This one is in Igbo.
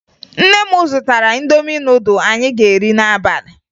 Nne m zụtara Indomi nudụ anyị ga-eri n'abalị